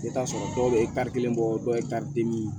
I bɛ t'a sɔrɔ dɔw bɛ kelen bɔ dɔw ye den min